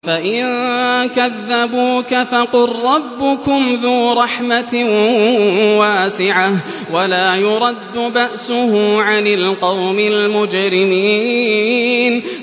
فَإِن كَذَّبُوكَ فَقُل رَّبُّكُمْ ذُو رَحْمَةٍ وَاسِعَةٍ وَلَا يُرَدُّ بَأْسُهُ عَنِ الْقَوْمِ الْمُجْرِمِينَ